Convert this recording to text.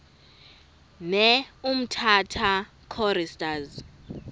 ne umtata choristers